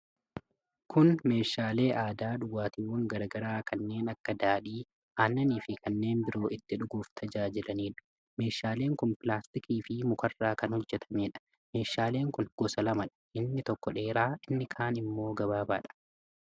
Kun meeshaalee aadaa dhugaatiiwwan garaa garaa kanneen akka daadhii aannanii fi kanneen biroo itti dhuguuf tajaajilanidha. Meeshaaleen kun pilaastikaa fii mukarraa kan hojjatamanidha. Meeshaalen kun gosa lamadha. Inni tokko dheeraa inni kaan ammoo gabaabaadha.